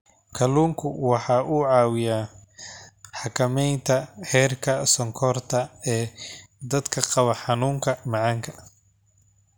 Kalluunku waxa uu caawiyaa xakamaynta heerka sonkorta ee dadka qaba xanuunka macaanka.